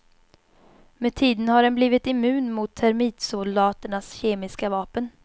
Med tiden har den blivit immun mot termitsoldaternas kemiska vapen.